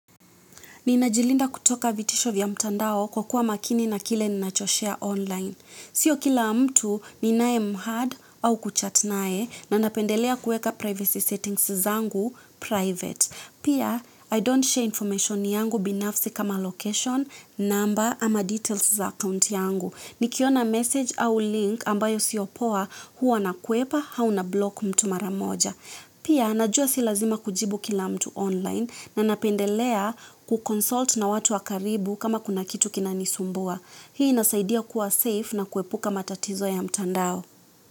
Ninajilinda kutoka vitisho vya mtandao kwa kuwa makini na kile ninachoshare online. Sio kila mtu ninayemhad au kuchat naye na napendelea kuweka privacy settings zangu private. Pia, I don't share information yangu binafsi kama location, number ama details za account yangu. Nikiona message au link ambayo sio poa huwa nakwepa au na block mtu mara moja. Pia naja si lazima kujibu kila mtu online na napendelea ku consult na watu wa karibu kama kuna kitu kinanisumbua hii inasaidia kuwa safe na kuepuka matatizo ya mtandao.